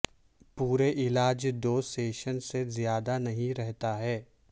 پورے علاج دو سیشن سے زیادہ نہیں رہتا ہے